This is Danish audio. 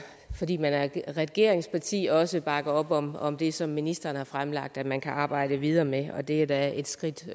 fordi man er et regeringsparti også bakker op om om det som ministeren har fremlagt at man kan arbejde videre med og det er da et skridt